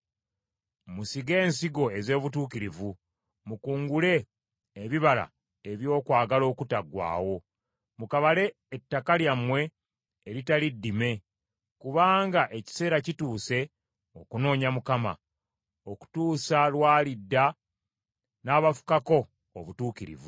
Musige ensigo ez’obutuukirivu, mukungule ebibala eby’okwagala okutaggwaawo; mukabale ettaka lyammwe eritali ddime, kubanga ekiseera kituuse okunoonya Mukama , okutuusa lw’alidda n’abafukako obutuukirivu.